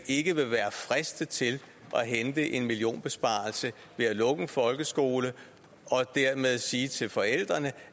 ikke vil være fristet til at hente en millionbesparelse ved at lukke en folkeskole og dermed sige til forældrene